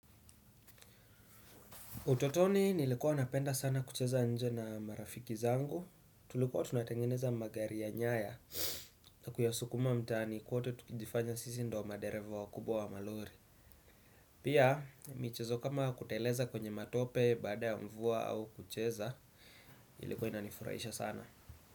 Utotoni nilikuwa napenda sana kucheza nje na marafiki zangu, tulikuwa tunatengeneza magari ya nyaya na kuyaskuma mtaani kote, tukijifanya sisi ndio madereva wakubwa wa malori. Pia, michezo kama kuteleza kwenye matope, baada ya mvua au kucheza, ilikuwa inanifurahisha sana.